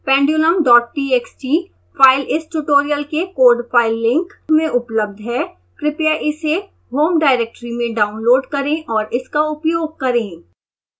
pendulumtxt file इस tutorial के code file link link में उपलब्ध है